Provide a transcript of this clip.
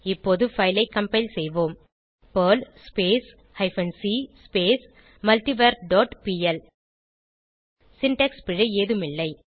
இப்போது பைல் ஐ கம்பைல் செய்வோம் Perl hyphen c multivar dot PL syntax பிழை ஏதும் இல்லை